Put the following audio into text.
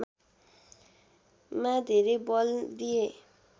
मा धेरै बल दिए